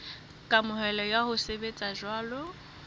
kamohelo ya ho sebetsa jwalo